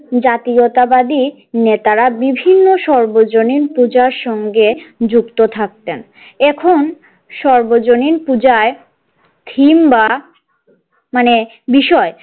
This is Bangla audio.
জাতীয়তাবাদী নেতারা বিভিন্ন সর্বজনীন পূজার সঙ্গে যুক্ত থাকতেন এখন সর্বজনীন পূজায় theme বা মানে বিষয়।